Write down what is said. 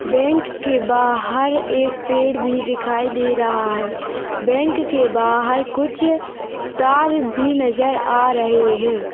Bank के बाहर एक पेड़ भी दिखाई दे रहा हैं बैंक के बाहर कुछ तार भी नज़र आ रहे हैं।